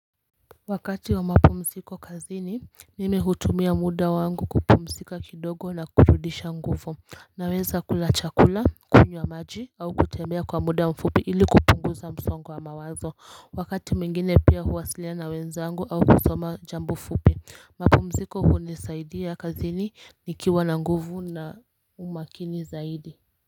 Wakati wa mapumziko kazini mimi hutumia muda wangu kupumzika kidogo na kurudisha nguvu naweza kula chakula kunywa maji au kutembea kwa muda mfupi ili kupunguza msongo wa mawazo wakati mwingine pia huwasilana na wenzangu au kusoma jambo fupi mapumziko hunisaidia kazini nikiwa na nguvu na umakini zaidi.